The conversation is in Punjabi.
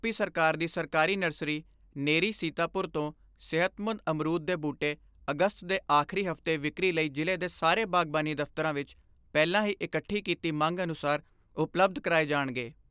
ਸਰਕਾਰ ਦੀ ਸਰਕਾਰੀ ਨਰਸਰੀ ਨੇਰੀ ਸੀਤਾਪੁਰ ਤੋਂ ਸਿਹਤਮੰਦ ਅਮਰੂਦ ਦੇ ਬੂਟੇ ਅਗਸਤ ਦੇ ਆਖਰੀ ਹਫਤੇ ਵਿਕਰੀ ਲਈ ਜ਼ਿਲ੍ਹੇ ਦੇ ਸਾਰੇ ਬਾਗਬਾਨੀ ਦਫਤਰਾਂ ਵਿੱਚ ਪਹਿਲਾਂ ਹੀ ਇਕੱਠੀ ਕੀਤੀ ਮੰਗ ਅਨੁਸਾਰ ਉਪਲੱਬਧ ਕਰਾਏ ਜਾਣਗੇ।